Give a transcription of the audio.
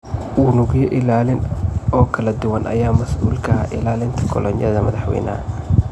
Unugyo ilaalin oo kala duwan ayaa mas'uul ka ahaa ilaalinta kolonyada madaxweynaha.